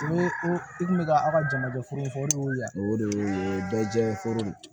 I kun bɛ ka aw ka jamajɛ foro in fɔ de yan o de y'o ye o ye bɛɛ jɛ foro ye